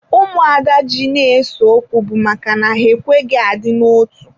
Ụmụada ji na ese okwu bụ maka na ha ekweghị adị na otu.